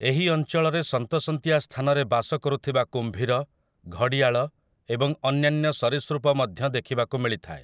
ଏହି ଅଞ୍ଚଳରେ ସନ୍ତସନ୍ତିଆ ସ୍ଥାନରେ ବାସ କରୁଥିବା କୁମ୍ଭୀର, ଘଡ଼ିଆଳ, ଏବଂ ଅନ୍ୟାନ୍ୟ ସରୀସୃପ ମଧ୍ୟ ଦେଖିବାକୁ ମିଳିଥାଏ ।